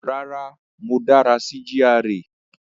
Rárá, mo dára sí GRA